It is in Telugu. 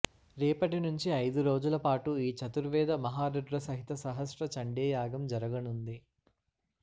రేపటినుంచి ఐదు రోజుల పాటు ఈ చతుర్వేద మహారుద్ర సహిత సహాస్త్ర చండీయాగం జరగనుంది